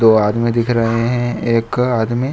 दो आदमी दिख रहे हैं एक आदमी --